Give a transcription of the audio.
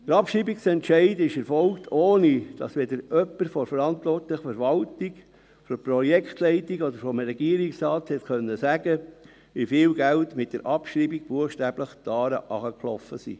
Der Abschreibungsentscheid erfolgte, ohne dass jemand von der verantwortlichen Verwaltung, von der Projektleitung oder seitens des Regierungsrates sagen konnte, wie viel Geld mit der Abschreibung buchstäblich die Aare hinuntergeflossen ist.